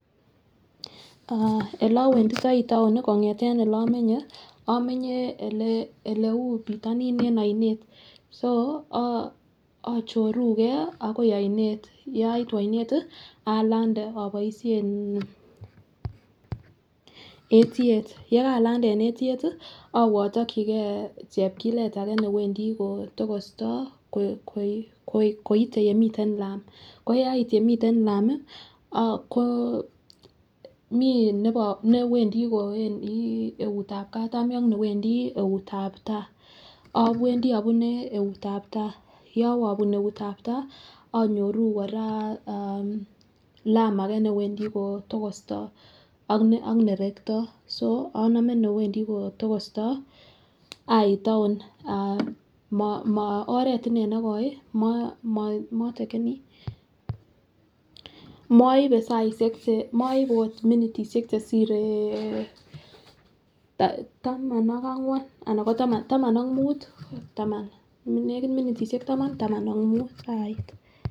Ah oleowenditoi tow kongeten ole omenye, omenye oleu pitoni en oinet so ochorugee akioi oinet. Yaitu aoinet tii alande oboishen etyet, yekalande en etyet tii owee otokigee chepkilet ake newendii kotokosta koi koit koite yemiten lam koyai yemiten lami ko mii newendii kowendii eutab katami ak newendii eutab tai, owendii obune eutab tai. Yowe ibun neutab tai inyoruu Koraa aah lam age newendii kotokosta ak nerekto so omome newendii kotokosto ait town mo moo oret inee nekoo motakenii. Moibe saishek chee moibe ot minitishek Cheshire taman ak angwan anako taman taman ak mut taman nekit minitishek taman taman taman ak mut ait.